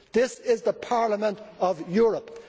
This is the Parliament of Europe.